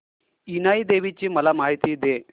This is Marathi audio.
इनाई देवीची मला माहिती दे